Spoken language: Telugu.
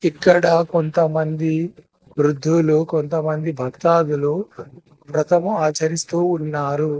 ఇక్కడ కొంతమంది వృద్ధులు కొంతమంది భక్తాధులు వ్రతము ఆచరిస్తూ ఉన్నారు.